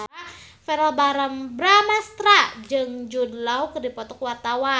Verrell Bramastra jeung Jude Law keur dipoto ku wartawan